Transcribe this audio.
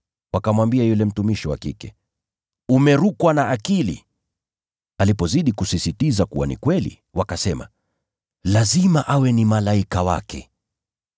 Wakamwambia yule mtumishi wa kike, “Umerukwa na akili.” Alipozidi kusisitiza kuwa ni kweli, wakasema, “Lazima awe ni malaika wake.”